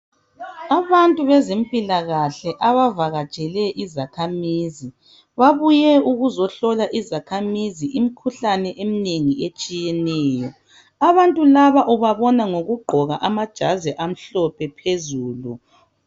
Abantu bezempilakahle abavakatshele izakhamizi babuye ukuzohlola izakhamizi imikhuhlane eminengi etshiyeneyo. Abantu laba ubabona ngokugqoka amajazi amhlophe phezulu.